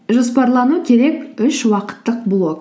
жоспарлану керек үш уақыттық блок